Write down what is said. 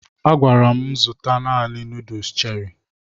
A gwara m zụta naanị nuduls Cherị